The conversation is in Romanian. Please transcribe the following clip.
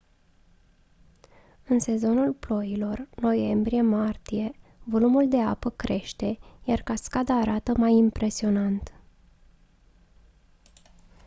în sezonul ploilor noiembrie-martie volumul de apă crește iar cascada arată mai impresionant